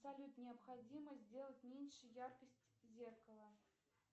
салют необходимо сделать меньше яркость зеркала